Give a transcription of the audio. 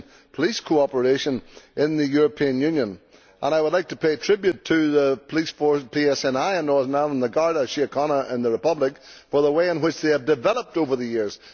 police cooperation in the European Union, and I would like to pay tribute to the PSNI in Northern Ireland and the Garda Síochána in the Republic for the way in which they have developed over the years.